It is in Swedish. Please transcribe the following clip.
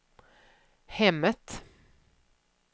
hemmet